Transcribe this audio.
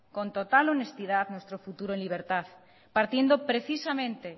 con total honestidad nuestro futuro en libertad partiendo precisamente